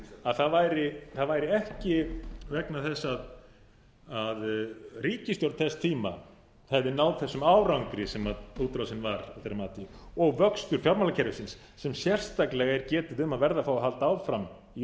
að það væri ekki vegna þess að ríkisstjórn þess tíma hefði náð þessum árangri sem útrásin var að þeirra mati og vöxtur fjármálakerfisins sem sérstaklega er getið um að verði að fá að halda áfram í